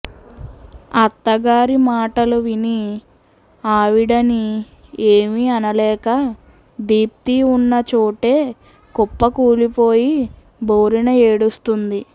అత్త గారి మాటలు విని ఆవిడని ఏమి అనలేక దీప్తి ఉన్న చోటే కుప్ప కూలిపోయి బోరున ఏడుస్తుంది